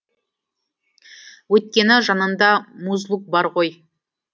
өйткені жанында музлук бар ғой